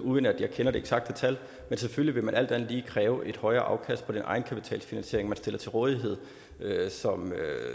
uden at jeg kender det eksakte tal men selvfølgelig vil man alt andet lige kræve et højere afkast på den egenkapitalfinansiering man stiller til rådighed